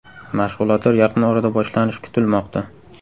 Mashg‘ulotlar yaqin orada boshlanishi kutilmoqda.